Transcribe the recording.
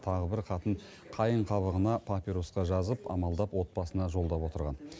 тағы бір хатын қайың қабығына папирусқа жазып амалдап отбасына жолдап отырған